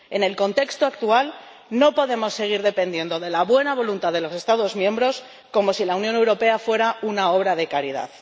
En el contexto actual no podemos seguir dependiendo de la buena voluntad de los Estados miembros, como si la Unión Europea fuera una obra de caridad.